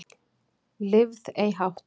Lifð ei hátt